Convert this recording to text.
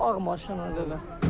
Bu ağ maşın.